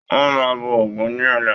Wọn máa bọ ògún ní ọ̀la.